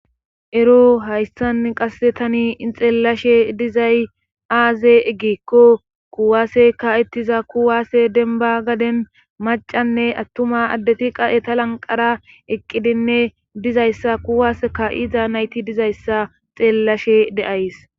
ero hayssan qasse tani ixeellashe dizay aaze eggeekko kuwaase ka7ettiza kuwaase denba gaden macanne attuma addeti qaeta lanqara eqqidinne dizayssa kuwas ka7iida nayti dizayssa xeellashe deays